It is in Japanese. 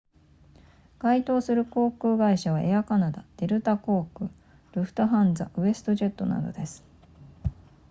該当する航空会社はエアカナダデルタ航空ルフトハンザウェストジェットなどです